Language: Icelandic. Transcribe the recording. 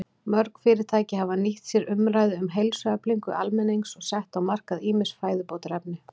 Mörg fyrirtæki hafa nýtt sér umræðu um heilsueflingu almennings og sett á markað ýmis fæðubótarefni.